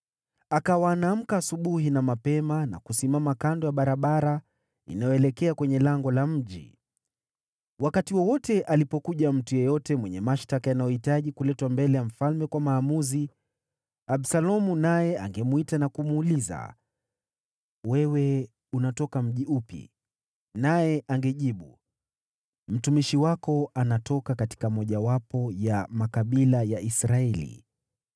Akawa anaamka asubuhi na mapema na kusimama kando ya barabara inayoelekea kwenye lango la mji. Wakati wowote alipokuja mtu yeyote mwenye mashtaka yanayohitaji kuletwa mbele ya mfalme kwa maamuzi, Absalomu naye angemwita na kumuuliza, “Wewe unatoka mji upi?” Naye angejibu, “Mtumishi wako anatoka katika mojawapo ya makabila ya Israeli.”